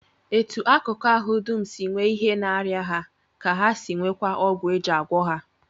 Etu akụkụ ahụ dum si nwee ihe na-arịa ha ka ha si nweekwa ọgwụ e ji agwọ ha